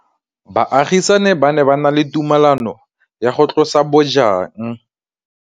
Baagisani ba ne ba na le tumalanô ya go tlosa bojang.